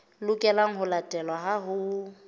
lokelang ho latelwa ha ho